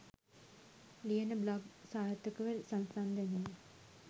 ලියන බ්ලොග් සාර්ථකව සංසන්දනය